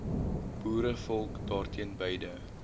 boerevolk daarteen beide